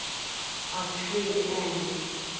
of trade and